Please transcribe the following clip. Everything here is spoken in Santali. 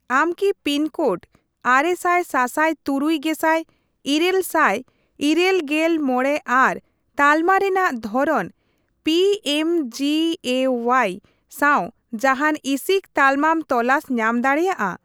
ᱟᱢ ᱠᱤ ᱯᱤᱱ ᱠᱳᱰ ᱟᱨᱮ ᱥᱟᱭ ᱥᱟᱥᱟᱭ ᱛᱩᱨᱩᱭ ᱜᱮᱥᱟᱭ ᱤᱨᱟᱹᱞ ᱥᱟᱭ ᱤᱨᱟᱹᱞ ᱜᱮᱞ ᱢᱚᱬᱮ ᱟᱨ ᱛᱟᱞᱢᱟ ᱨᱮᱱᱟᱜ ᱫᱷᱚᱨᱚᱱ ᱯᱤᱮᱢᱡᱮᱮᱳᱣᱟᱭ ᱥᱟᱶ ᱡᱟᱦᱟᱱ ᱤᱥᱤᱠ ᱛᱟᱞᱢᱟᱢ ᱛᱚᱞᱟᱥ ᱧᱟᱢ ᱫᱟᱲᱮᱭᱟᱜᱼᱟ ?